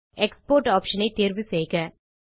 export option ஐ தேர்வு செய்க